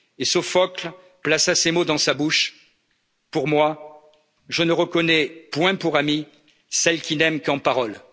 iniques. Sophocle plaça ces mots dans sa bouche pour moi, je ne reconnais point pour amie celle qui n'aime qu'en